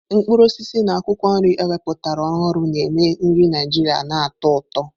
Mkpụrụ osisi na akwụkwọ nri ewepụtara ọhụrụ na-eme nri Naijiria na-atọ ụtọ.